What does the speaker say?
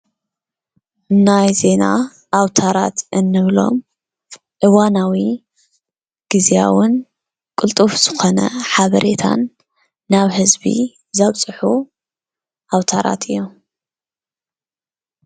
ናይ ዜና ኣውታራት እንብሎም እዋናውን ግዝያውን ቅልጡፍ ዝኾነ ሓበሬታን ናብ ህዝቢ ዘብፅሑ ኣውታራት እዮም፡፡